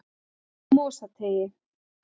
Mosateigi